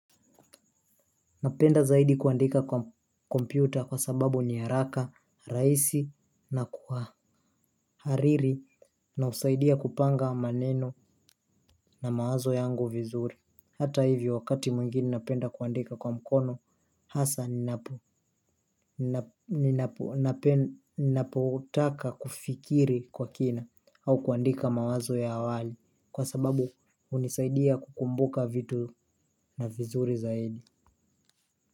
Napenda zaidi kuandika kwa kompyuta kwa sababu ni haraka, raisi na kwa hariri na usaidia kupanga maneno na mawazo yangu vizuri. Hata hivi wakati mwingini napenda kuandika kwa mkono hasa ninapo ninapotaka kufikiri kwa kina au kuandika mawazo ya awali kwa sababu unisaidia kukumbuka vitu na vizuri zaidi.